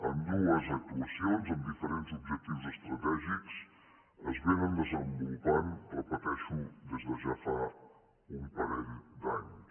ambdues actuacions amb diferents objectius estratègics es desenvolupen ho repeteixo des de ja fa un parell d’anys